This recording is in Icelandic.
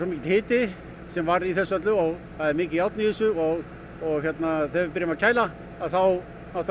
mikill hiti sem var í þessu öllu það er mikið járn í þessu og og þegar við byrjum að kæla þá